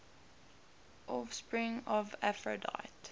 offspring of aphrodite